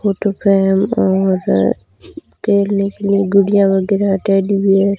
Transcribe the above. photo frame और खेलने के लिए गुड़िया वगैरा टेडी बेयर --